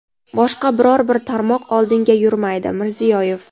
boshqa biror bir tarmoq oldinga yurmaydi – Mirziyoyev.